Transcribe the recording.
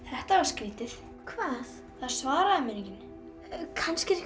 þetta var skrítið hvað það svaraði mér enginn kannski